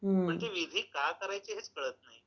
म्हणजे विधी का करायचे हेच कळत नाही.